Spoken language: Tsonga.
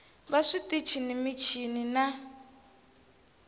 va switichi ni michini na